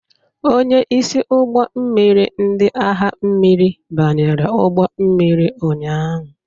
Onye isi ụgbọ mmiri ndị agha mmiri banyere ụgbọ mmiri ụnyahụ.